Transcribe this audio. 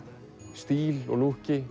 stíl og